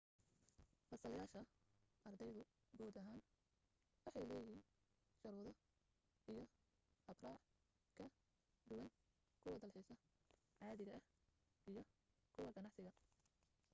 fiisayaasha ardaydu guud ahaan waxay leeyihiin shuruudo iyo habraac ka duwan kuwa dalxiisa caadiga ah iyo kuwa ganacsiga